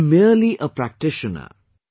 I am merely a practitioner